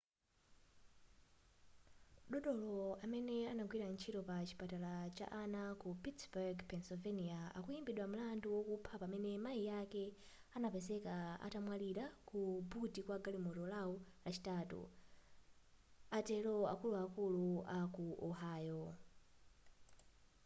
dotolo amene anagwira ntchito pa chipatala cha ana ku pittburgh pennsylvania akuimbidwa mlandu wokupha pamene mai ake anapezeka atamwalira ku buti kwa galimoto lao lachitatu atero akuluakulu a ku ohio